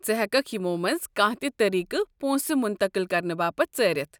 ژٕ ہٮ۪ککھ یمو منٛزٕ کانہہ تہِ طریٖقہٕ پونٛسہٕ مُنتقٕل كرنہٕ باپت ژٲرِتھ۔